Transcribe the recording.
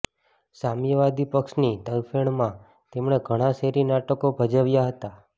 સામ્યવાદી પક્ષની તરફેણમાં તેમણે ઘણાં શેરી નાટકો ભજવ્યાં હતા